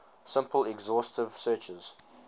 simple exhaustive searches